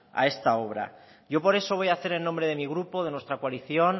a esta obra yo por eso voy hacer en nombre de mi grupo de nuestra coalición